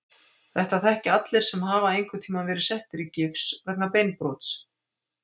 Þetta þekkja allir sem hafa einhverntíma verið settir í gifs vegna beinbrots.